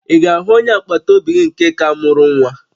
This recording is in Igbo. Ị ga-ahụ onye agbataobi gị nke ka mụrụ nwa?